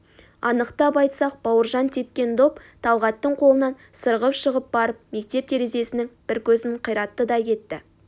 анықтап айтсақ бауыржан тепкен доп талғаттың қолынан сырғып шығып барып мектеп терезесінің бір көзін қиратты да кетті